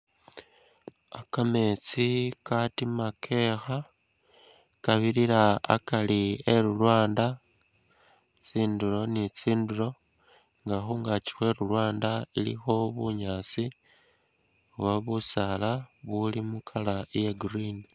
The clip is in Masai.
Kametsi ka katima kekha, kabirira akari e lulwanda tsindulo ni tsindulo nga khungakyi khwe lu lwanda khulikho bunyaasi oba bu saala buli mu color iya green.